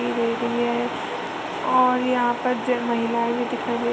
और यहाँं पर ज माहिला भी दिखाई दे रही है।